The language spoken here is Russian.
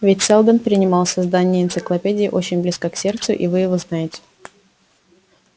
ведь сэлдон принимал создание энциклопедии очень близко к сердцу и вы его знаете